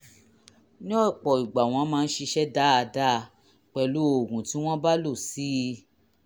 ní ọ̀pọ̀ ìgbà wọ́n máa ń ṣiṣẹ́ dáadáa pẹ̀lú oògùn tí wọ́n bá lò sí i